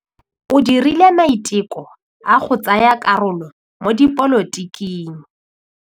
O dirile maitekô a go tsaya karolo mo dipolotiking.